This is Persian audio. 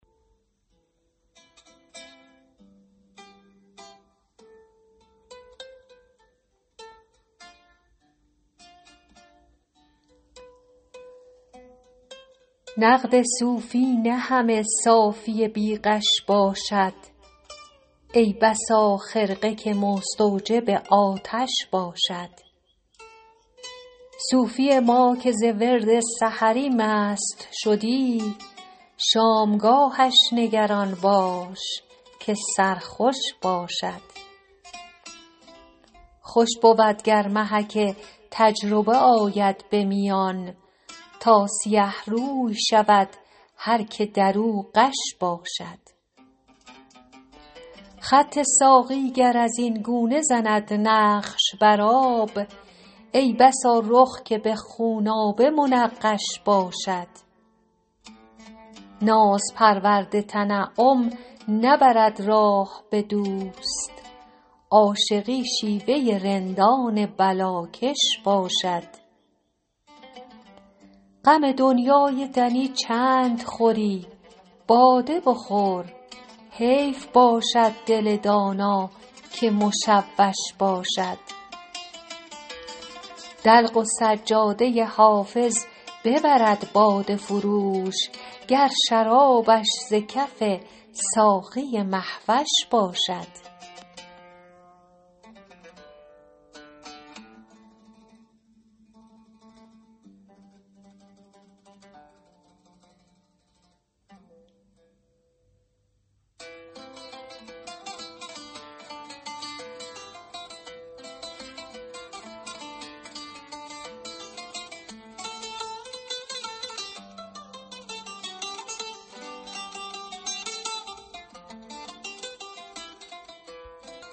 نقد صوفی نه همه صافی بی غش باشد ای بسا خرقه که مستوجب آتش باشد صوفی ما که ز ورد سحری مست شدی شامگاهش نگران باش که سرخوش باشد خوش بود گر محک تجربه آید به میان تا سیه روی شود هر که در او غش باشد خط ساقی گر از این گونه زند نقش بر آب ای بسا رخ که به خونآبه منقش باشد ناز پرورد تنعم نبرد راه به دوست عاشقی شیوه رندان بلاکش باشد غم دنیای دنی چند خوری باده بخور حیف باشد دل دانا که مشوش باشد دلق و سجاده حافظ ببرد باده فروش گر شرابش ز کف ساقی مه وش باشد